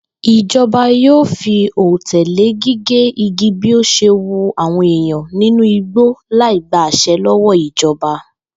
Ìjo̩ba yóò fi òté lé gígé igi bí ó s̩e wu àwò̩n èèyàn nínú igbó láì gba às̩e̩ ló̩wó̩ ìjo̩ba